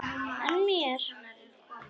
En mér?